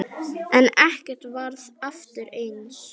En ekkert varð aftur eins.